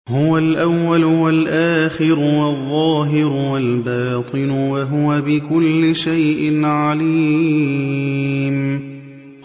هُوَ الْأَوَّلُ وَالْآخِرُ وَالظَّاهِرُ وَالْبَاطِنُ ۖ وَهُوَ بِكُلِّ شَيْءٍ عَلِيمٌ